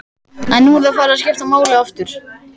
En nú er það farið að skipta máli aftur?